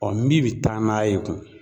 min bɛ taa n'a ye gun?